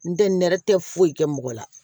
N tɛ nɛrɛ tɛ foyi kɛ mɔgɔ la